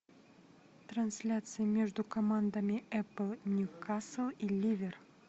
трансляция между командами апл ньюкасл и ливер